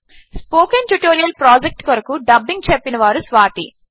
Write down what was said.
spoken tutorial project కొరకు dubbing చెప్పినవారు స్వాతి